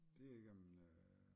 Det igennem øh